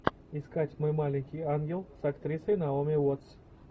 искать мой маленький ангел с актрисой наоми уоттс